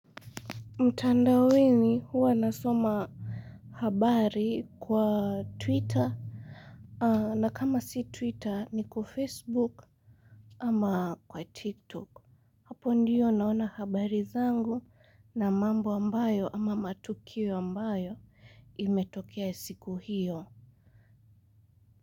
Mtandaoni huwa nasoma habari kwa twitter. Na kama si twitter ni kwa facebook. Ama kwa tiktok hapo ndio naona habari zangu na mambo ambayo ama matukio ambayo imetokea siku hiyo.